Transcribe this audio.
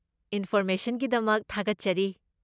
ꯏꯟꯐꯣꯔꯃꯦꯁꯟꯒꯤꯗꯃꯛ ꯊꯥꯒꯠꯆꯔꯤ꯫